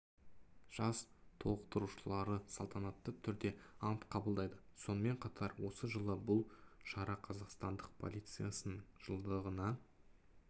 жас толықтырушылары салтанатты түрде ант қабылдайды сонымен қатар осы жылы бұл шара қазақстандық полициясының жылдығына